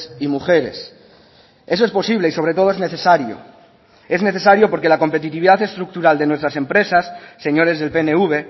y mujeres eso es posible y sobre todo es necesario es necesario porque la competitividad estructural de nuestras empresas señores del pnv